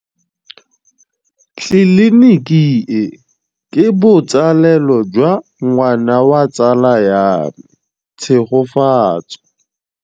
Tleliniki e, ke botsalêlô jwa ngwana wa tsala ya me Tshegofatso.